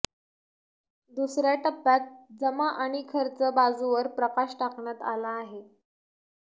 दुसऱ्या टप्प्यात जमा आणि खर्च बाजूवर प्रकाश टाकण्यात आला आहे